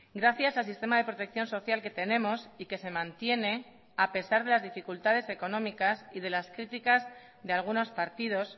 gracias al sistema de protección social que tenemos y que se mantiene a pesar de las dificultades económicas y de las críticas de algunos partidos